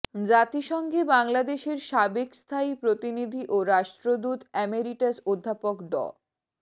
জাতিসংঘে বাংলাদেশের সাবেক স্থায়ী প্রতিনিধি ও রাষ্ট্রদূত অ্যামিরিটাস অধ্যাপক ড